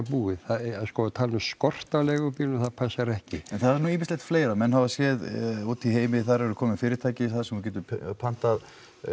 búið að tala um skort á leigubílum það passar ekki en það er nú ýmislegt fleira menn hafa séð út í heimi þar eru komin fyrirtæki þar sem þú getur pantað